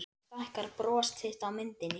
Nú stækkar bros þitt á myndinni.